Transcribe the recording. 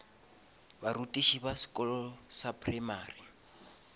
barutiši ba sekolo sa primary